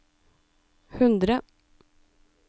hundre